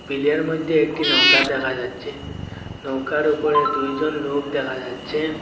বিলের মইধ্যে একটি নৌকা দেখা যাচ্ছে নৌকার উপরে দুই জন লোক দেখা যাচ্ছে।